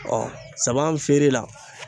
sama feere la